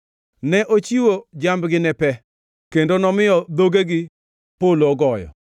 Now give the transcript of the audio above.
Ne ochiwo jambgi ne pe, kendo nomiyo dhogegi polo ogoyo.